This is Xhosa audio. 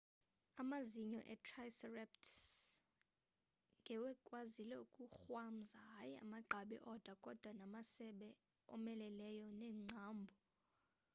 amazinyo e-triceratops ngewekwazile ukukrwamza hayi amagqabi odwa kodwa namasebe omeleleyo neengcambhu